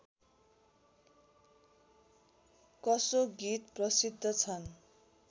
कसो गीत प्रसिद्ध छन्